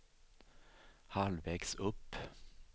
halvvägs upp